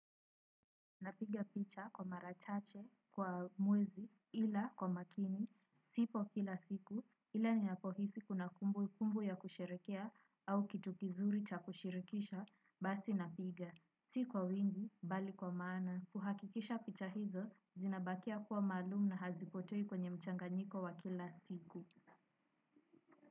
Napiga picha kwa mara chache kwa mwezi ila kwa makini sipo kila siku, ila ni napohisi kuna kumbu kumbu ya kusherehekea au kitu kizuri cha kushirikisha, basi napiga, si kwa wingi, bali kwa maana, kuhakikisha picha hizo, zinabakia kuwa maalum na hazipotei kwenye mchanga nyiko wa kila siku.